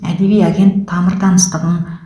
әдеби агент тамыр таныстығың